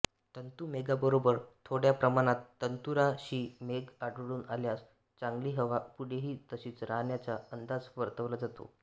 तंतुमेघाबरोबर थोड्या प्रमाणात तंतुराशीमेघ आढळून आल्यास चांगली हवा पुढेही तशीच राहण्याचा अंदाज वर्तवला जातो